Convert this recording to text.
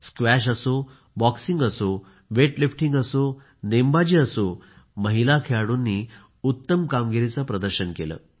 squash असो boxing असो weightlifting असो नेमबाजी असो महिला खेळाडूंनी उत्तम कामगिरीचे प्रदर्शन केले